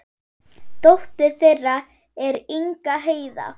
Dóttir þeirra er Inga Heiða.